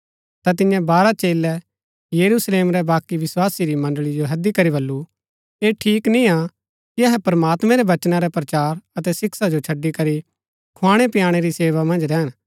ता तिन्ये बारह चेलै यरूशलेम रै बाकी विस्वासी री मण्ड़ळी जो हैदी करी बल्लू ऐह ठीक निय्आ कि अहै प्रमात्मैं रै वचना रै प्रचार अतै शिक्षा जो छड़ी करी खुआणैपिआणै री सेवा मन्ज रैहन